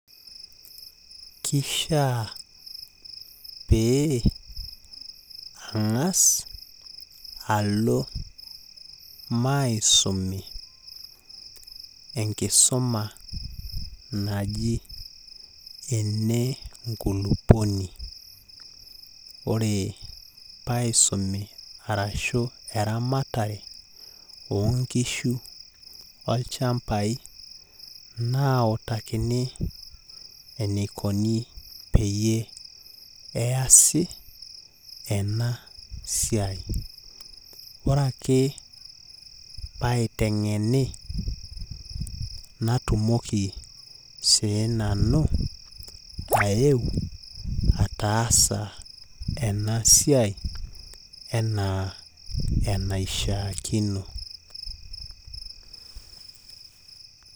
Kishaa pee ang'as alo maisumi enkisuma naji enenkulupuoni. Ore paisumi arashu eramatare oonkishu olchambai, nautakini enikoni peyie easi enasiai. Ore ake, paiteng'eni, natumoki siinanu, ayeu ataasa enasiai enaa enashaakino.